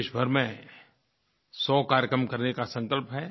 देश भर में 100 कार्यक्रम करने का संकल्प है